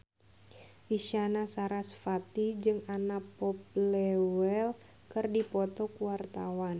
Isyana Sarasvati jeung Anna Popplewell keur dipoto ku wartawan